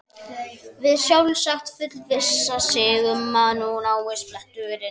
Vill sjálfsagt fullvissa sig um að úr náist bletturinn.